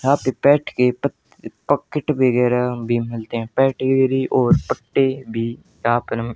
यहां पर पेट के पत पॉकेट वगैह भी मिलते हैं पेडिग्री और पट्टे भी यहां पर--